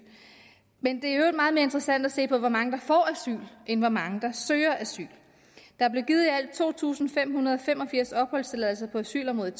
men det er i øvrigt meget mere interessant at se på hvor mange der får asyl end hvor mange der søger asyl der blev givet i alt to tusind fem hundrede og fem og firs opholdstilladelser på asylområdet